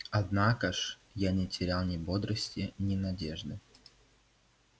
однако ж я не терял ни бодрости ни надежды